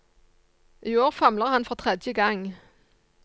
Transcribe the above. I år famler han for tredje gang.